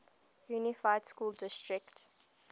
unified school district